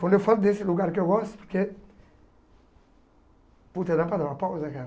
Quando eu falo desse lugar que eu gosto, porque... Puta, dá para dar uma pausa, cara?